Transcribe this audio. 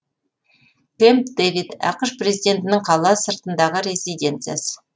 кэмп дэвид ақш президентінің қала сыртындағы резиденциясы